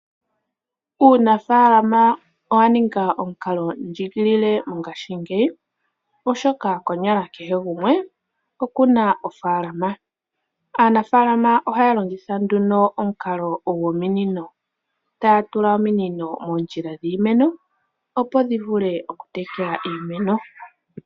Uunafalama owaninga omukalo ndjigilile mongaashi ngeyi, oshoka kehe gumwe mongaashi ngeyi okuna ofaalama. Aanafalama ngele taa tekele iimeno ohaatula ominino moondjila dhimeno opo dhivule okutekela iimeno.